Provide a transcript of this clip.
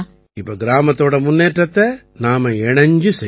இப்ப கிராமத்தோட முன்னேற்றத்தை நாம இணைஞ்சு செய்யணும்